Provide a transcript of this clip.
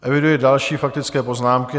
Eviduji další faktické poznámky.